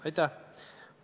Aitäh!